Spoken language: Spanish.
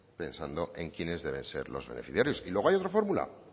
pensando en quienes deben ser los beneficiarios y luego hay otra fórmula el